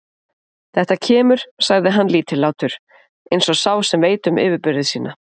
Þetta kemur, sagði hann lítillátur, eins og sá sem veit um yfirburði sína.